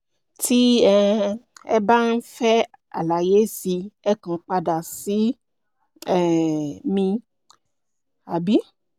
tí um ẹ bá ń fẹ́ àlàyé síi ẹ kàn padà sí um mi um